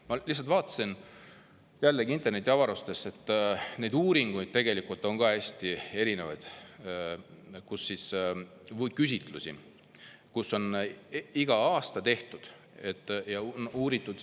Ma lihtsalt vaatasin jällegi ringi internetiavarustes ja nägin, et neid uuringuid või küsitlusi on hästi erinevaid.